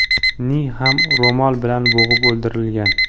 ni ham ro‘mol bilan bo‘g‘ib o‘ldirgan .